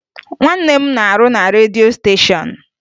Nwanne m na-arụ na redio stéshọ̀n